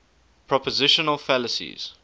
propositional fallacies